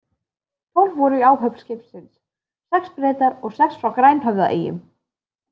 Tólf voru í áhöfn skipsins, sex Bretar og sex frá Grænhöfðaeyjum.